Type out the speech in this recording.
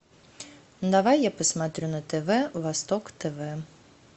давай я посмотрю на тв восток тв